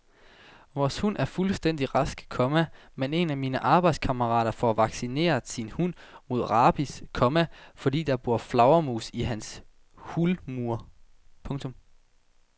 Vores hund er fuldstændig rask, komma men en af mine arbejdskammerater får vaccineret sin hund mod rabies, komma fordi der bor flagermus i hans hulmur. punktum